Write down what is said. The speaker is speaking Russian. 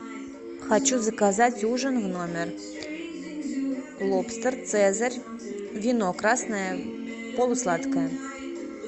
хочу заказать ужин в номер лобстер цезарь вино красное полусладкое